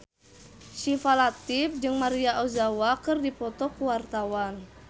Syifa Latief jeung Maria Ozawa keur dipoto ku wartawan